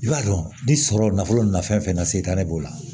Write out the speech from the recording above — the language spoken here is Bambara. I b'a dɔn ni sɔrɔ nafolo nafɛn na se t'ale b'o la